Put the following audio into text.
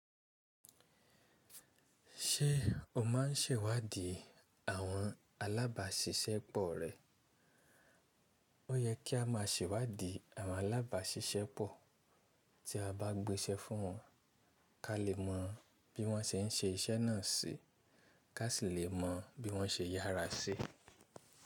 Ṣé o maa ń sẹ̀wádìí àwọn alábàáṣiṣẹ́ pọ̀ rẹ? O yẹ kí a máa sẹ̀wádìí àwọn alábàáṣiṣẹ́ pọ̀ tí a bá gbéṣẹ́ fún wọn ká lè mọ bí wọ́n ṣe ń ṣe iṣẹ́ náà sí, ká sì lè mọ bí wọ́n ṣe yára sí.